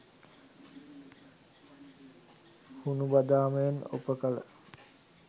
හුණු බදාමයෙන් ඔප කළ